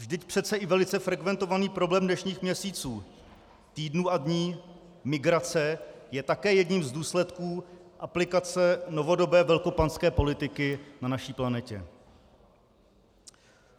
Vždyť přece i velice frekventovaný problém dnešních měsíců, týdnů a dní - migrace - je také jedním z důsledků aplikace novodobé velkopanské politiky na naší planetě.